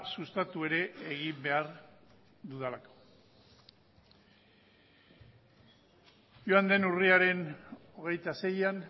sustatu ere egin behar dudalako joan den urriaren hogeita seian